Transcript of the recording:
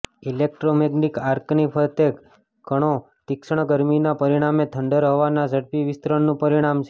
electromagnetic આર્કની ફરતે કણો તીક્ષ્ણ ગરમીના પરિણામે થંડર હવાના ઝડપી વિસ્તરણનું પરિણામ છે